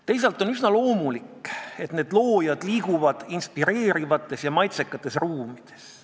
Teisalt on üsna loomulik, et loojad liiguvad inspireerivates ja maitsekates ruumides.